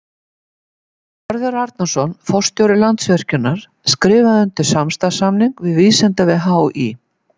Hörður Arnarson, forstjóri Landsvirkjunar skrifaði undir samstarfssamning við Vísindavef HÍ.